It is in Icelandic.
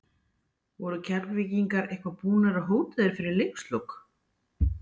Voru Keflvíkingar eitthvað búnir að hóta þér fyrir leikslok?